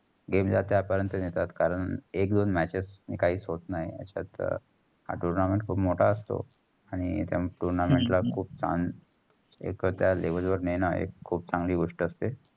game ला त्या पर्यंत नेतात कारण एक दोन match काहीच होत नाही. अशात हा tournament खूप मोटा असतो. आणि त्या tournament ला एक त्या level वर नेण एक खूप चांगली गोष्ट असते.